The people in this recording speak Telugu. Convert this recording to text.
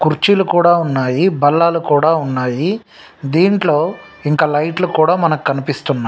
కుర్చీలు కూడా ఉన్నాయి.బల్లలు కూడా ఉన్నాయి.దింట్లో ఇంకా మనకి లైట్లు కూడా మనకి కనిపిస్తున్నాయి.